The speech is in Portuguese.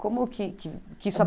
Como que que